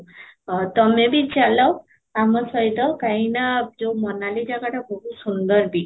ଅ ତୋମେ ବି ଚାଲ ଆମ ସହିତ କାହିଁକି ନା ଯଉ ମୋନାଲି ଜାଗାଟା ବହୁତ ସୁନ୍ଦର ବି